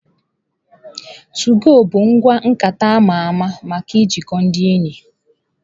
Tụgo bụ ngwa nkata ama ama maka ijikọ ndị enyi.